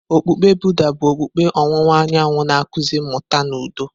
Okpukpe Buddha bụ okpukpe ọwụwa anyanwụ na-akụzi mmụta na udo.